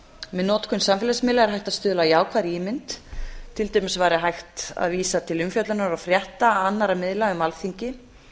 með notkun samfélagsmiðla er hægt að stuðla að jákvæðri ímynd til dæmis væri hægt að vísa til umfjöllunar og frétta annarra miðla um alþingi